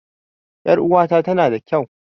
Ƴar uwata tana da kau